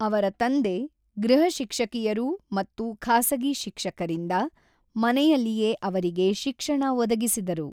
ಅವರ ತಂದೆ, ಗೃಹಶಿಕ್ಷಕಿಯರು ಮತ್ತು ಖಾಸಗಿ ಶಿಕ್ಷಕರಿಂದ ಮನೆಯಲ್ಲಿಯೇ ಅವರಿಗೆ ಶಿಕ್ಷಣ ಒದಗಿಸಿದರು.